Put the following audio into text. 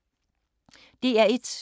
DR1